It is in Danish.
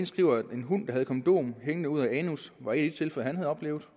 skriver at en hund havde et kondom hængende ud af anus var et tilfælde han havde oplevet